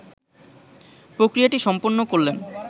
প্রক্রিয়াটি সম্পন্ন করলেন